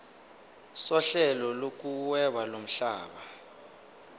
sohlelo lokuhweba lomhlaba